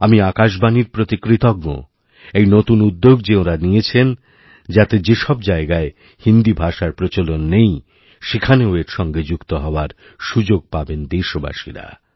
আমি আকাশবাণীর প্রতিকৃতজ্ঞ এই নতুন উদ্যোগ যে ওঁরা নিয়েছেন যাতে যে সব জায়গায় হিন্দি ভাষার প্রচলননেই সেখানেও এর সঙ্গে যুক্ত হওয়ার সুযোগ পাবেন দেশবাসীরা